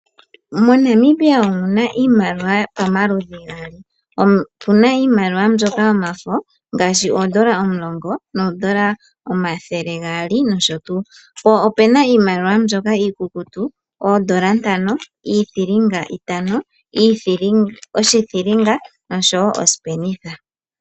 MoNamibia omuna iimaliwa pamaludhi gaali, opuna iimaliwa mbyoka yomafo ngaashi oondola omulongo noondola omathele gaali nosho tuu, po opuna iimaliwa mbyoka iikukutu, oondola ntano, iithilinga itano, oshithilinga noshowo osipenitha.